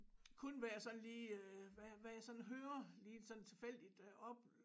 Kun hvad jeg sådan lige hvad hvad jeg sådan hører lige sådan tilfældigt op